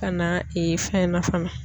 Ka na fɛn na fana.